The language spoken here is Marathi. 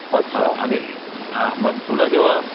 हां मग आणि तुला जेंव्हा